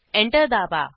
enter दाबा